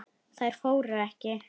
Þær fóru ekki.